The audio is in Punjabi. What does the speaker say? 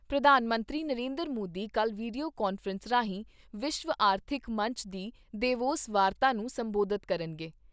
ਪ੍ਰਧਾਨ ਮੰਤਰੀ ਨਰਿੰਦਰ ਮੋਦੀ ਕੱਲ੍ਹ ਵੀਡੀਓ ਕਾਨਫਰੰਸ ਰਾਹੀਂ, ਵਿਸ਼ਵ ਆਰਥਿਕ ਮੰਚ ਦੀ ਦੇਵੋਸ ਵਾਰਤਾ ਨੂੰ ਸੰਬੋਧਤ ਕਰਨਗੇ।